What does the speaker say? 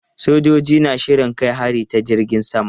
Sojojin na shirin kai hari ta jirgin sama.